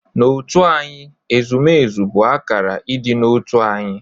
N'otu anyị, ezumezu bụ akara ịdị n'otu anyị.